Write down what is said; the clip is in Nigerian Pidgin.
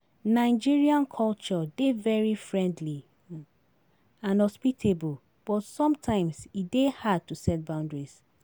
Nigerian culture dey very friendly and hospitable, but sometimes e dey hard to set boundaries.